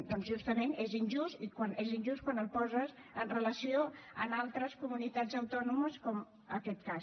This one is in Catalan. doncs justament és injust i és injust quan el poses amb relació a altres comunitats autònomes com aquest cas